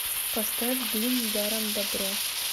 поставь дым даром добро